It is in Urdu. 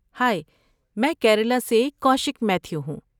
ہائی، میں کیرالا سے کوشک میتھیو ہوں۔